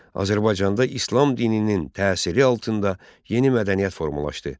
Azərbaycanda İslam dininin təsiri altında yeni mədəniyyət formalaşdı.